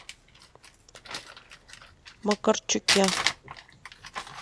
макарчуке